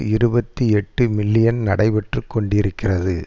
இருபத்தி எட்டு மில்லியன் நடைபெற்று கொண்டிருக்கிறது